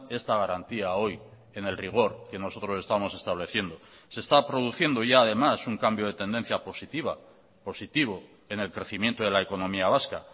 esta garantía hoy en el rigor que nosotros estamos estableciendo se está produciendo ya además un cambio de tendencia positiva positivo en el crecimiento de la economía vasca